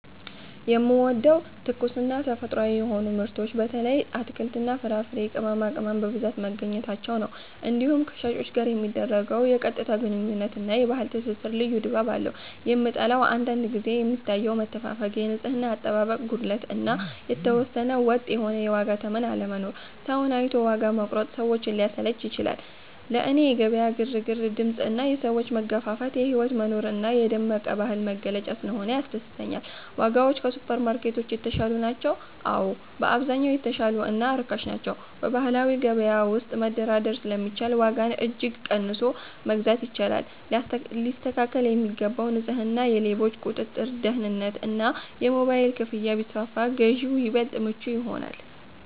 የምወደደው፦ ትኩስና ተፈጥሯዊ የሆኑ ምርቶች (በተለይ አትክልትና ፍራፍሬ፣ ቅመማቅመም) በብዛት መገኘታቸው ነው። እንዲሁም ከሻጮች ጋር የሚደረገው የቀጥታ ግንኙነት እና የባህል ትስስር ልዩ ድባብ አለው። የምጠላው፦ አንዳንድ ጊዜ የሚታየው መተፋፈግ፣ የንጽህና አጠባበቅ ጉድለት እና የተወሰነ ወጥ የሆነ የዋጋ ተመን አለመኖር (ሰውን አይቶ ዋጋ መቁረጥ) ሰዎችን ሊያሰለች ይችላል። ለእኔ የገበያ ግርግር፣ ድምፅ እና የሰዎች መገፋፋት የህይወት መኖር እና የደመቀ ባህል መገለጫ ስለሆነ ያስደስተኛል። ዋጋዎች ከሱፐርማርኬቶች የተሻሉ ናቸው? አዎ፣ በአብዛኛው የተሻሉ እና ርካሽ ናቸው። በባህላዊ ገበያ ውስጥ መደራደር ስለሚቻል ዋጋን እጅግ ቀንሶ መግዛት ይቻላል። ሊስተካከል የሚገባው፦ ንጽህና፣ የሌቦች ቁጥጥር (ደህንነት) እና የሞባይል ክፍያ ቢስፋፋ ግዢው ይበልጥ ምቹ ይሆናል።